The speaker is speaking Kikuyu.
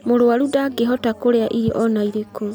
Mũrwaru ndangĩhota kurĩa irio ona irĩkũ